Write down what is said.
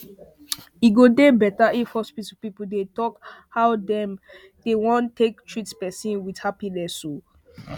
e go dey better if hospital people dey talk how dey won take treat person with happiness